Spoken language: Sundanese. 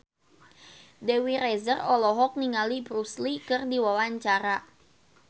Dewi Rezer olohok ningali Bruce Lee keur diwawancara